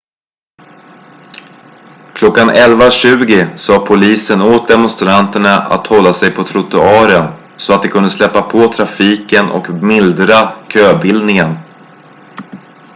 klockan 11.20 sade polisen åt demonstranterna att hålla sig på trottoaren så att de kunde släppa på trafiken och mildra köbildningen